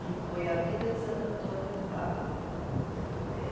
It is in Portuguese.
que foi a vida de Santo Antônio de Padova. Eh